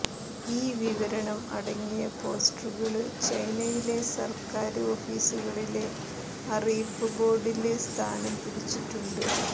ഈ വിവരണം അടങ്ങിയ പോസ്റ്ററുകള് ചൈനയിലെ സര്ക്കാര് ഓഫീസുകളിലെ അറിയിപ്പ് ബോര്ഡില് സ്ഥാനം പിടിച്ചിട്ടുണ്ട്